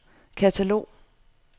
katalog